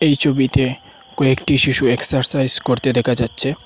এই ছবিতে কয়েকটি শিশু এক্সারসাইজ করতে দেখা যাচ্ছে।